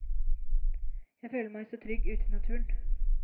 Jeg føler meg så trygg ute i naturen.